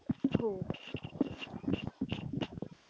हो,